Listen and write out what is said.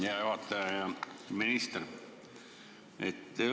Hea juhataja ja minister!